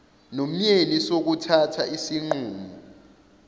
nomyeni sokuthatha isinqumo